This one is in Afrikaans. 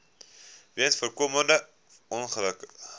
weens voorkombare ongelukke